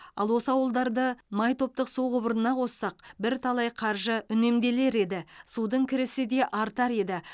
ал осы ауылдарды май топтық су құбырына қоссақ бірталай қаржы үнемделер еді судың кірісі де артар еді